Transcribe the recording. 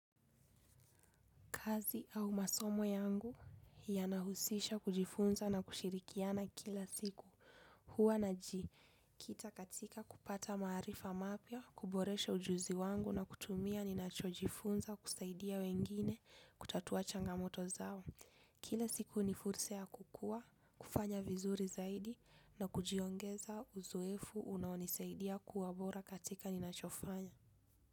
Kazi au masomo yangu ya nahusisha kujifunza na kushirikiana kila siku. Hua na ji, kita katika kupata marifa mapia, kuboresha ujuzi wangu na kutumia ni nacho jifunza kusaidia wengine kutatua changamoto zao. Kila siku ni fursa kukua, kufanya vizuri zaidi na kujiongeza uzoefu unaonisaidia kuwabora katika ni nachofanya.